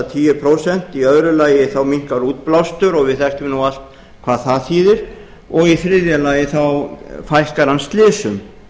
tíu prósent í öðru lagi minnkar útblástur og við þekkjum nú allt hvað það þýðir og í þriðja lagi fækkar hann slysum